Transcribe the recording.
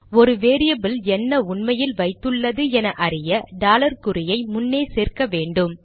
ஒரு வேரியபில் என்ன உண்மையில் வைத்துள்ளது என அறிய டாலர் குறியை முன்னே சேர்க்க வேண்டும்